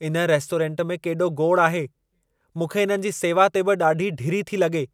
इन रेस्टोरेंट में केॾो गोड़ आहे। मूंखे इन्हनि जी सेवा ते बि ॾाढी ढिरी थी लॻे।